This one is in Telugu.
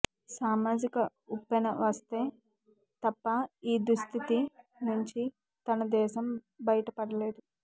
సామాజిక ఉప్పెన వస్తే తప్ప ఈ దుస్థితి నుంచి మన దేశం బయటపడలేదు